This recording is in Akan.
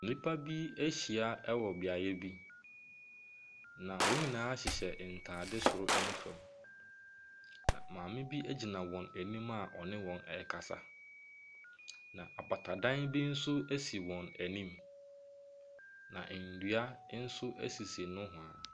Nipa bi ɛhyia wɔ beaeɛ bi na wɔn nyinaa hyehyɛ ntaade soro ne fam. Na maame bi egyina wɔn ɛnim a ɔne wɔn ɛkasa. Na apatadan bi nso esi wɔn ɛnim. Na nnua nso esisi nowhaa.